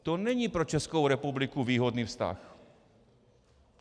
To není pro Českou republiku výhodný vztah.